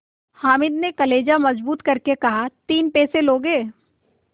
हामिद ने कलेजा मजबूत करके कहातीन पैसे लोगे